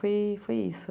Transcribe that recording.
Aí foi isso.